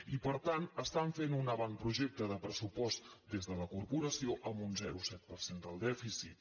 i per tant estan fent un avantprojecte de pressupost des de la corporació amb un zero coma set per cent del dèficit